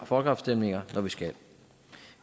folkeafstemninger når vi skal